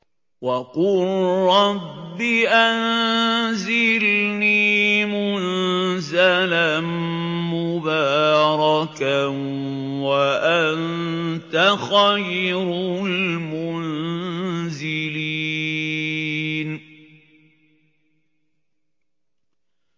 وَقُل رَّبِّ أَنزِلْنِي مُنزَلًا مُّبَارَكًا وَأَنتَ خَيْرُ الْمُنزِلِينَ